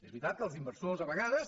és veritat que els inversors a vegades